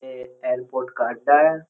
यह एअरपोर्ट का अड्डा है।